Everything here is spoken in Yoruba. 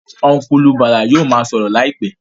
Ọ́nkùlù Bàlá yóò ma sọ̀rọ̀ láìpẹ́